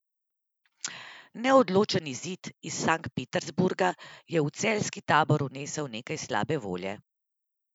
Neodločen izid iz Sankt Peterburga je v celjski tabor vnesel nekaj slabe volje.